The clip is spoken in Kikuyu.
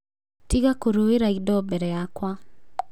Tĩga kũrũĩra indo mbere yakwa.